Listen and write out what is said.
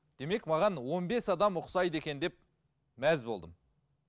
демек маған он бес адам ұқсайды екен деп мәз болдым